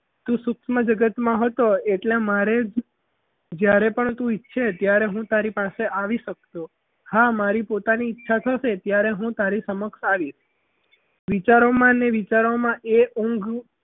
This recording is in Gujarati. તું સૂક્ષ્મ જગતમાં હોય હતો એટલે મારે જ જ્યારે પણ તું છે ત્યારે હું તારી પાસે આવી શકું છું હા મારી પોતાની ઈચ્છા થશે ત્યારે હું તારી સમક્ષ આવી વિચારોમાં ને વિચારોમાં એ ઊંઘ